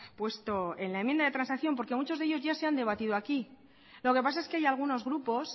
puesto en la enmienda de transacción porque muchos de ellos ya se han debatido aquí lo que pasa es que hay algunos grupos